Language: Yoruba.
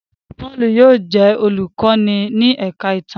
Paulu yóò di olukọni ní ẹka ti ìtàn